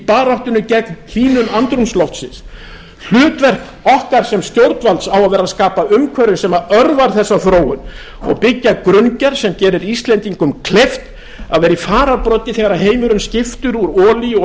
baráttunni gegn hlýnun andrúmsloftsins hlutverk okkar sem stjórnvalds á að vera að skapa umhverfi sem örvar þessa þróun og byggja grunngerð sem gerir íslendingum kleift að vera í fararbroddi þegar heimurinn skiptir úr olíu og